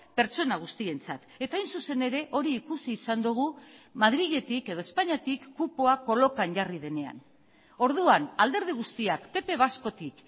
pertsona guztientzat eta hain zuzen ere hori ikusi izan dugu madriletik edo espainiatik kupoa kolokan jarri denean orduan alderdi guztiak pp vascotik